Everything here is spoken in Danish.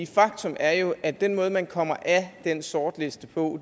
faktum er jo at den måde man kommer af den sortliste på